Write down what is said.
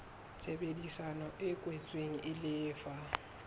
tshebedisano e kwetsweng e lefa